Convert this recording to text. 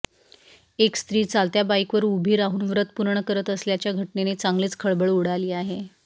एक स्त्री चालत्या बाईकवर उभी राहून व्रत पूर्ण करत असल्याच्या घटनेने चांगलीच खळबळ उडाली आहे